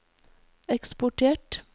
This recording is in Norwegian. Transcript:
eksportert